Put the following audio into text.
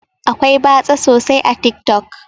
Akwai batsa sosai a tik tok.